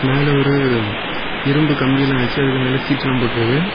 மேல ஒரு இரும்பு கம்பியெல்லா வெச்சு அதுக்கு மேல சீட்டு எல்லா போட்டு இருக்க.